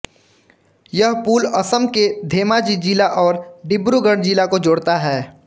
यह पुल असम के धेमाजी जिला और डिब्रूगढ़ जिला को जोड़ता है